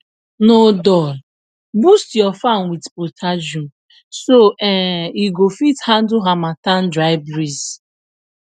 no dull boost your farm with potassium so um e go fit handle harmattan dry breeze